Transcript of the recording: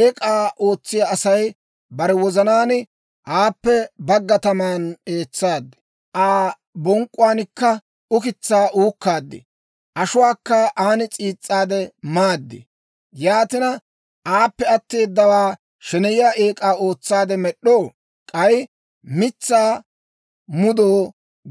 Eek'aa ootsiyaa Asay bare wozanaan, «Aappe bagga taman eetsaad; Aa bonk'k'uwaankka ukitsaa uukkaad; ashuwaakka aan s'iis's'aade maad. Yaatina, aappe atteedawaa sheneyiyaa eek'aa ootsaade med'd'oo? K'ay mitsaa mudoo